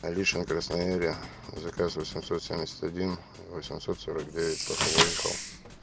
алешино красноярье заказ восемьсот семьдесят один восемьсот сорок девять только выехал